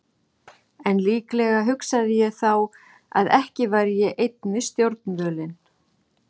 En líklega hugsaði ég þá að ekki væri ég einn við stjórnvölinn.